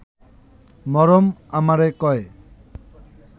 মরম আমারে কয়ে